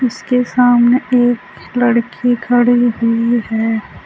इसके सामने एक लड़की खड़ी हुई है।